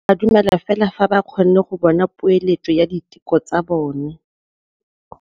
Borra saense ba dumela fela fa ba kgonne go bona poeletsô ya diteko tsa bone.